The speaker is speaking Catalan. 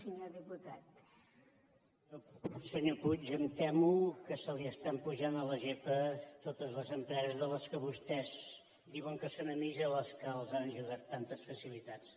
senyor puig em temo que se li estan pujant a la gepa totes les empreses de què vostès diuen que són amics i que les han ajudat amb tantes facilitats